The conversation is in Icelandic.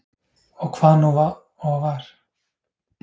Og hvað nú og var